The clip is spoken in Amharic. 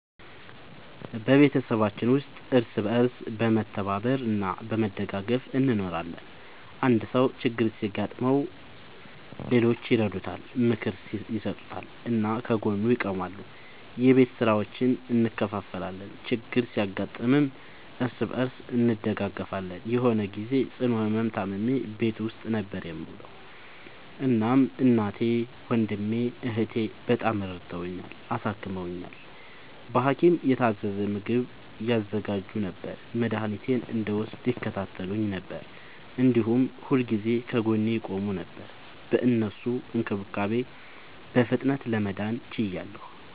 በቤተሰባችን ውስጥ እርስ በርስ በመተባበር እና በመደጋገፍ እንኖራለን። አንድ ሰው ችግር ሲያጋጥመው ሌሎቹ ይረዱታል፣ ምክር ይሰጡታል እና ከጎኑ ይቆማሉ። የቤት ስራዎችን እንከፋፈላለን፣ ችግር ሲያጋጥምም እርስ በርስ እንደጋገፋለን። የሆነ ግዜ ጽኑ ህመም ታምሜ ቤት ውስጥ ነበር የምዉለዉ። እናም እናቴ፣ ወንድሜ፣ እህቴ፣ በጣም ረድተዉኛል፣ አሳክመዉኛል። በሀኪም የታዘዘ ምግብ ያዘጋጁ ነበር፣ መድኃኒቴን እንድወስድ ይከታተሉኝ ነበር፣ እንዲሁም ሁልጊዜ ከጎኔ ይቆሙ ነበር። በእነሱ እንክብካቤ በፍጥነት ለመዳን ችያለሁ።